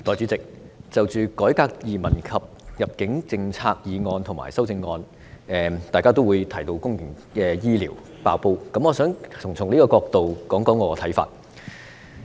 代理主席，就着"改革移民及入境政策"的議案及修正案，大家也會提到公營醫療"爆煲"，我想從這個角度，談談我的看法。